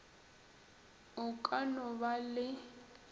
o ka no ba le